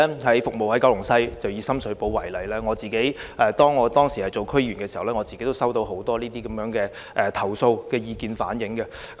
我服務九龍西，以深水埗為例，當我擔任區議員時，已收到很多這類投訴及意見。